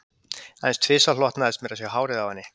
Aðeins tvisvar hlotnaðist mér að sjá hárið á henni